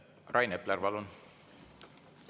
Rain Epler, palun!